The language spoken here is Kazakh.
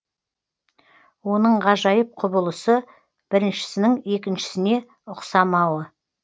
оның ғажайып құбылысы біріншісінің екіншісіне ұқсамауы